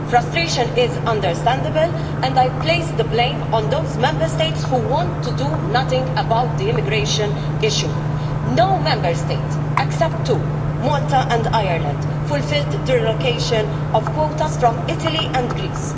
Frustration is understandable, and I place the blame on those Member States who want to do nothing about the immigration issue. No Member State except two, Malta and Ireland fulfilled their allocation of quotas from Italy and Greece.